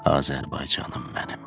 Azərbaycanım mənim.